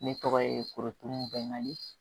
Ne tɔgɔ ye kotubɛni